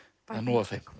það er nóg af þeim